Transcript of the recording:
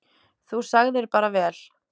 Þú sagðir bara vel.